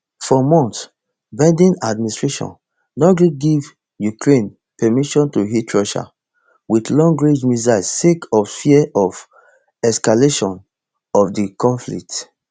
for months biden administration no gree give ukraine permission to hit russia wit longrange missiles sake of fear of escalation of di conflict